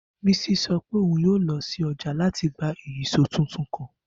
Bisi sọ pe oun yoo lọ si ọja lati gba ìyíṣòó tuntun kan.